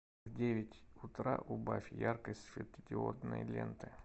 в девять утра убавь яркость светодиодной ленты